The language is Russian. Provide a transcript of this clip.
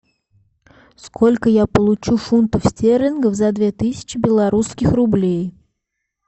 сколько я получу фунтов стерлингов за две тысячи белорусских рублей